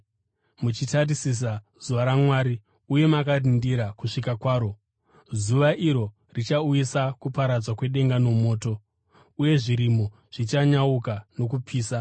muchitarisira zuva raMwari uye makarindira kusvika kwaro. Zuva iro richauyisa kuparadzwa kwedenga nomoto, uye zvirimo zvichanyauka nokupisa.